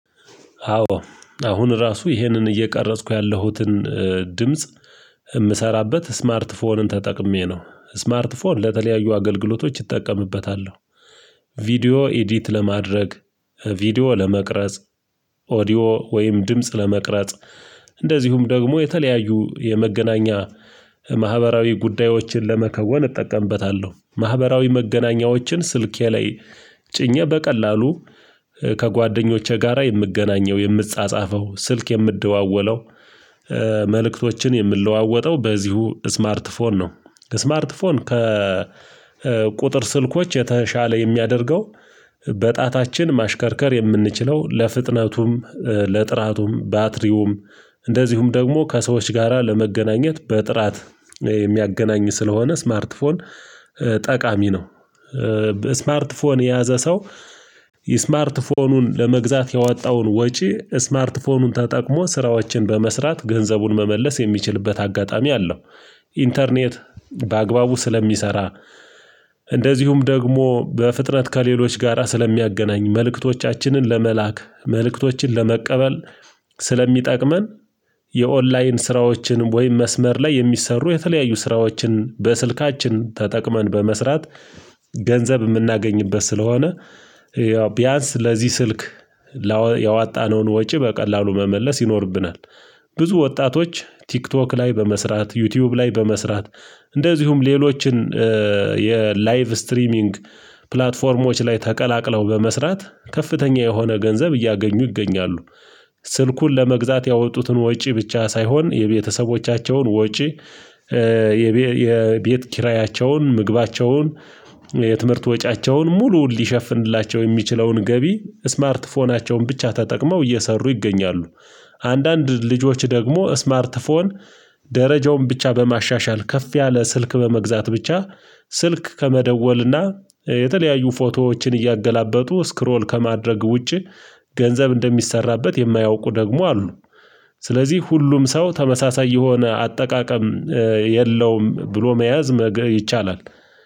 አዎ አሁን ራሱ ይሄንን እየቀረጽኩ ያለሁትን ድምጽ የምሰራበት ስማርት ፎንን ተጠቅሜ ነው ስማርት ፎን ለተለያዩ አገልግሎቶች እጠቀምበታለሁ። ቪዲዮ ኤዲት ለማድረግ ቪዲዮ ለመቅረጽ ኦዲዮ ወይም ድምጽ ለመቅረጽ። እንደዚሁም ደግሞ የተለያዩ የመገናኛ ማህበራዊ ጉዳዮችን ለመከወን እጠቀምበታለሁ ማህበራዊ መገናኛዎችን ስልኬ ላይ ጭኜ በቀላሉ ከጓደኞቼ ጋራ የምገናኘው የምጻጻፈው ስልክ የምደዋወለው መልእክቶችን የምለዋወጠው በዚሁ ስማርት ፎን ነው። ስማርት ፎን ከቁጥር ስልኮች የተሻለ የሚያደርገው በጣታችን ማሽከርከር የምንችለው ለፍጥነቱም ለጥራቱም ባትሪውም እንደዚሁም ደግሞ ከሰዎች ጋራ ለመገናኘት በጥራት የሚያገናኝ ስለሆነ ስማርት ፎን ጠቃሚ ነው። ስማርት ፎን የያዘ ሰው ስማርት ፎኑን ለመግዛት ያወጣውን ወጪ ስማርት ፎኑን ተጠቅሞ ስራዎችን በመስራት ገንዘቡን መመለስ የሚችልበት አጋጣሚ አለው። ኢንተርኔት በአግባቡ ስለሚሰራ እንደዚሁም ደግሞ በፍጥነት ከሌሎች ጋራ ስለሚያገናኝ መልእክቶቻችንን ለመላክ መልእክቶችን ለመቀበል ስለሚጠቅመን። የኦንላይን ስራዎችን ወይም መስመር ላይ የሚሰሩ የተለያዩ ስራዎችን በስልካችን ተጠቅመን በመስራት ገንዘብ የምናገኝበት ስለሆነ ቢያንስ ለዚህ ስልክ ያወጣነውን ወጪ በቀላሉ መመለስ ይኖርብናል። ብዙ ወጣቶች ቲክቶክ ላይ በመስራት ዩቲዩብ ላይ በመስራት እንደዚሁም ሌሎችን የ ላይቭ ስትሪሚንግ ፕላትፎርሞች ላይ ተቀላቅለው በመስራት ከፍተኛ የሆነ ገንዘብ እያገኙ ይገኛሉ። ስልኩን ለመግዛት ያወጡትን ወጪ ብቻ ሳይሆን የቤተሰቦቻቸውን ወጪ የቤ የቤት ኪራያቸውን ምግባቸውን የትምህርት ወጪያቸውን ሙሉ ሊሸፍንላቸው የሚችለውን ገቢ ስማርት ፎናቸውን ብቻ ተጠቅመው እየሰሩ ይገኛሉ። አንዳንድ ልጆች ደግሞ ስማርት ፎን ደረጃውን ብቻ በማሻሻል ከፍ ያለ ስልክ በመግዛት ብቻ ስልክ ከመደወልና የተለያዩ ፎቶዎችን እያገላበጡ ስክሮል ከማድረግ ውጪ ገንዘብ እንደሚሰራበት የማያውቁ ደግሞ አሉ። ስለዚህ ሁሉም ሰው ተመሳሳይ የሆነ አጠቃቀም የለውም ብሎ መያዝ መገ ይቻላል